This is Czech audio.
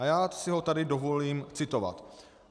A já si ho tady dovolím citovat.